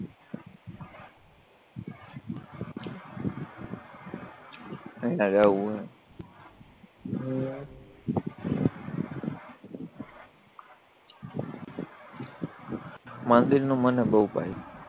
ન્યા જાવું હે હમ મંદિરનું મને બોવ ભાઈ